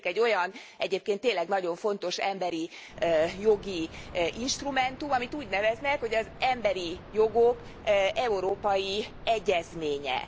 Létezik egy olyan, egyébként tényleg nagyon fontos emberi jogi instrumentum, amit úgy neveznek, hogy az emberi jogok európai egyezménye.